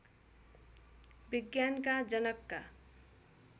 विज्ञानका जनकका